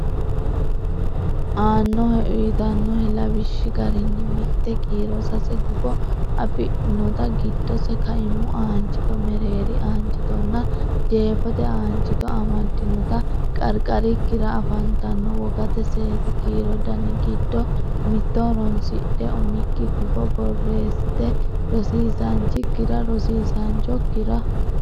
aannohe uytannohe lawishshi garinni mitte kiiro sase gufo afidhinota giddose kaimu aanchito mereeri aanchitonna jeefote aanchito amaddinota qarqarikkira afantanno wogate seesi kiiro dani giddonni mitto horonsidhe umikki gufo borreessite rosiisaanchikkira rosiisaanchokkira.